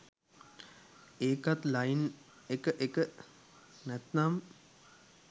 ඒකත් ලයින් එක එක! නැත්නම්